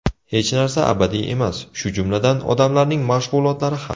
Hech narsa abadiy emas, shu jumladan, odamlarning mashg‘ulotlari ham.